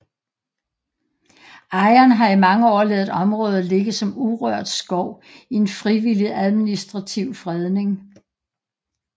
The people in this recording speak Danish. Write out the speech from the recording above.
Ejeren har i mange år ladet området ligge som urørt skov i en frivillig administrativ fredning